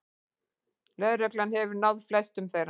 Lögregla hefur náð flestum þeirra